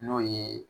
N'o ye